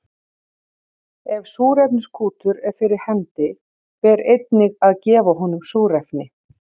Ef súrefniskútur er fyrir hendi ber einnig að gefa honum súrefni.